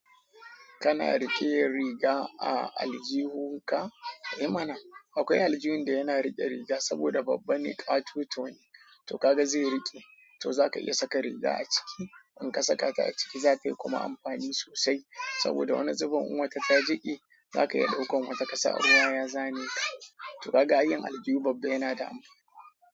Kana riƙe riga a aljihun ka? Eh mana akwai aljihun da yana riƙe riga saboda babba ne ƙatoton, to kaga zai riƙe, to zaka iya saka riga a ciki. In ka saka ta a ciki zatayi kuma amfani sosai saboda wani zuben in wata ta jiƙe zaka iya ɗaukan wata kasa ruwa ya zane ka. To kaga ai yin aljihu babba yana da amfani.